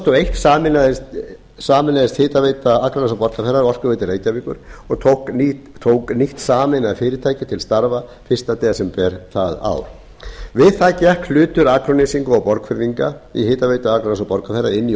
og eitt sameinaðist hitaveita akraness og borgarfjarðar orkuveitu reykjavíkur og tók nýtt sameinað fyrirtæki til starfa fyrsta desember það ár við það gekk hlutur akurnesinga og borgfirðinga í hitaveitu akraness og borgarfjarðar inn í